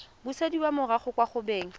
busediwa morago kwa go beng